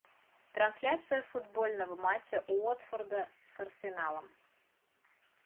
трансляция футбольного матча уотфорда с арсеналом